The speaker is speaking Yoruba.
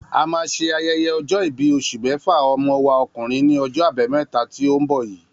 A ma ṣe ayẹyẹ ọjọ́-ìbí oṣù méfà ọmọ wa ọkùnrin ní ojó àbámẹ́ta tí o nbọ yìí